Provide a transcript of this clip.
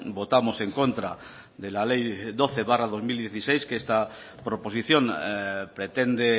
votamos en contra de la ley doce barra dos mil dieciséis que esta proposición pretende